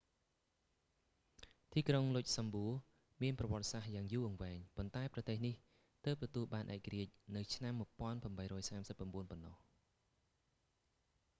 ទីក្រុង លុចសំបួរ មានប្រវត្តិសាស្រ្តយ៉ាងយូរអង្វែង ប៉ុន្តែប្រទេសនេះទើបទទួលបានឯករាជ្យនៅឆ្នាំ1839 ប៉ុណ្ណោះ